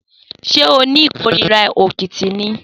Sé o ni ikórìrá òkìtì ni?